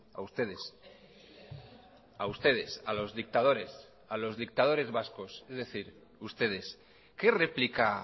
a ustedes a ustedes a los dictadores a los dictadores vascos es decir ustedes que replica